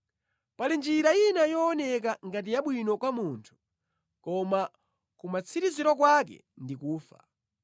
Pali njira ina yooneka ngati yabwino kwa munthu, koma kumatsiriziro kwake ndi ku imfa.